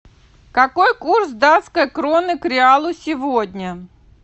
какой курс датской кроны к реалу сегодня